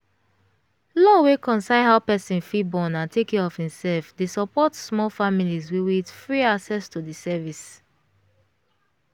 law wey concern how person fit born and take care of im self dey support small families wiwith free access to the service.